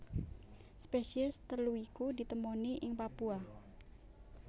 Spesies telu iku ditemoni ing Papua